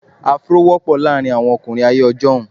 Afro wọ́pọ̀ láàárín àwọn ọkùnrin ayé ọjọ́un.